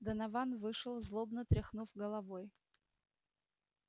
донован вышел злобно тряхнув головой